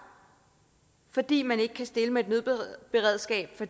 fordi man ikke kan stille med et nødberedskab for